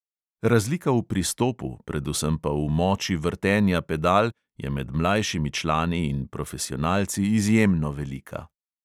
Razlika v pristopu, predvsem pa v moči vrtenja pedal, je med mlajšimi člani in profesionalci izjemno velika.